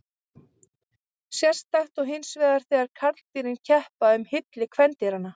Sérstakt er hinsvegar þegar karldýrin keppa um hylli kvendýranna.